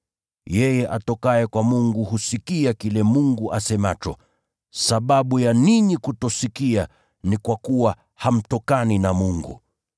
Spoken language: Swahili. Yeye atokaye kwa Mungu husikia kile Mungu asemacho. Sababu ya ninyi kutosikia ni kwa kuwa hamtokani na Mungu.”